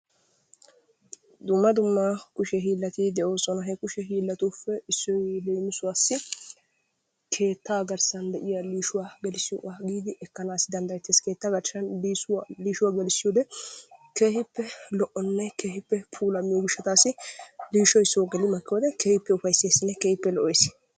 Dumma dumma kushe hiillati de'ooson. He kushe hiillatuppe issoy leemisuwassi: keettaa garssan de'iya liishuwa gelssiyoga giidi ekkanaassi danddayettees. Keetta garssan liishuwa gelissiyode keehippe lo'onne keehippe puulaa immiyo gishshataassi liishoy soo geli makkiyode keehippe ufaysseesinne keehippe lo'ees.